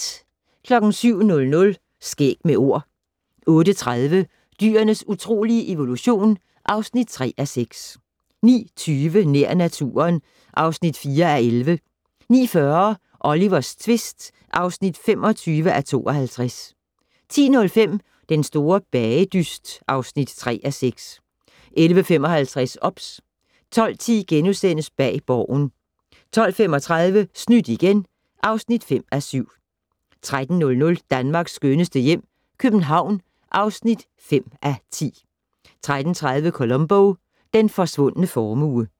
07:00: Skæg med Ord 08:30: Dyrenes utrolige evolution (3:6) 09:20: Nær naturen (4:11) 09:40: Olivers tvist (25:52) 10:05: Den store bagedyst (3:6) 11:55: OBS 12:10: Bag Borgen * 12:35: Snydt igen (5:7) 13:00: Danmarks skønneste hjem - København (5:10) 13:30: Columbo: Den forsvundne formue